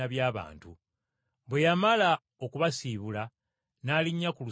Bwe yamala okubasiibula n’alinnya ku lusozi okusaba.